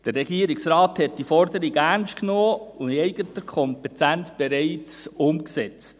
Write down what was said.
Der Regierungsrat hat diese Forderung ernst genommen und in eigener Kompetenz bereits umgesetzt.